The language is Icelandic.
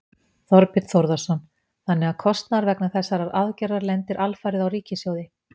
Þorbjörn Þórðarson: Þannig að kostnaður vegna þessarar aðgerðar lendir alfarið á ríkissjóði?